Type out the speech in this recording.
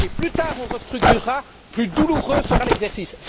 Et plus tard on restructurera, plus douloureux sera l'exercice.